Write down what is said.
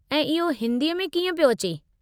ऐं इहो हिन्दीअ में कीअं पियो अचे?